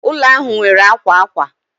Ụlọ ahụ nwere akwa akwa